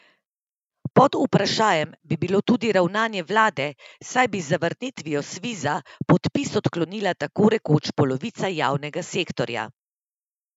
Pod vprašajem bi bilo tudi ravnanje vlade, saj bi z zavrnitvijo Sviza podpis odklonila tako rekoč polovica javnega sektorja.